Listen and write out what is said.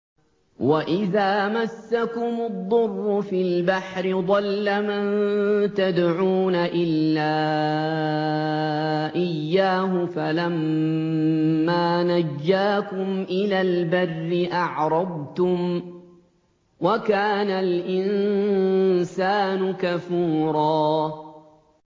وَإِذَا مَسَّكُمُ الضُّرُّ فِي الْبَحْرِ ضَلَّ مَن تَدْعُونَ إِلَّا إِيَّاهُ ۖ فَلَمَّا نَجَّاكُمْ إِلَى الْبَرِّ أَعْرَضْتُمْ ۚ وَكَانَ الْإِنسَانُ كَفُورًا